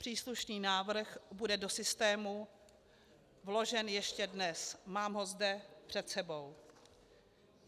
Příslušný návrh bude do systému vložen ještě dnes, mám ho zde před sebou.